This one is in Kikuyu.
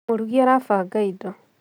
Mũrugi arabanga indo